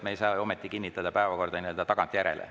Me ei saa kinnitada päevakorda nii-öelda tagantjärele.